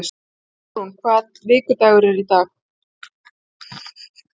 Jarún, hvaða vikudagur er í dag?